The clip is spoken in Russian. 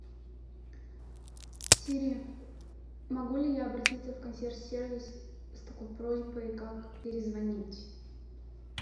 сири могу ли я обратиться в консьерж сервис с такой просьбой как перезвонить